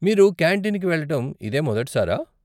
మీరు కాంటీన్కి వెళ్ళటం ఇదే మొదటి సారా?